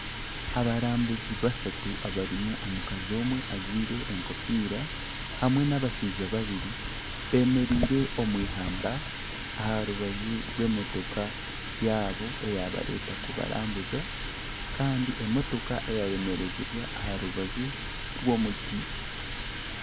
Abarambuzi bashatu abarimu omukazi omwe ajwaire enkofiira hamwe n'abashaija babiri bemereire omwihamba aha rubaju rw'emotoka yaabo eyabareeta kubarambuza kandi emotoka yayemerezibwa aha rubaju rw'omuti.